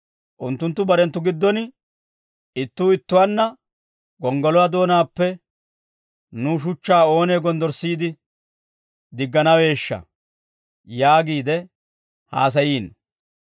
Unttunttu barenttu giddon ittuu ittuwaanna, «Gonggoluwaa doonaappe nuw shuchchaa oonee gonddorssiide digganaweeshsha?» yaagiide haasayiino.